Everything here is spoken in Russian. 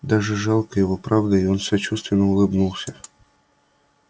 даже жалко его правда и он сочувственно улыбнулся